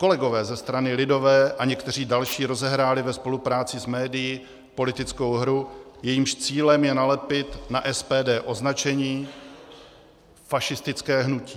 Kolegové ze strany lidové a někteří další rozehráli ve spolupráci s médii politickou hru, jejímž cílem je nalepit na SPD označení fašistické hnutí.